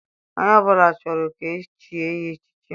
Onye ọbụla chọrọ ka echie ya echichi.